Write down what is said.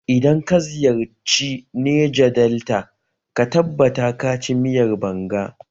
Idan ka ziyarci Neja delta ka tabbata ka ci miyar banga